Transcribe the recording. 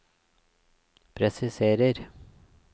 presiserer